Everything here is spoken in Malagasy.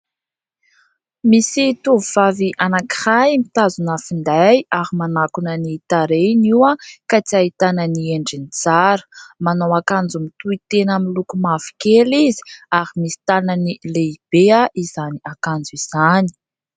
Misy tovovavy anankiray mitazona finday ary manakona ny tarehiny io ka tsy ahitana ny endriny tsara. Manao akanjo mitohitena miloko mavokely ary misy tanany lehibe izany akanjo izany.